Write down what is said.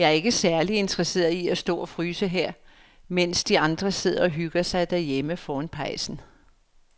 Jeg er ikke særlig interesseret i at stå og fryse her, mens de andre sidder og hygger sig derhjemme foran pejsen.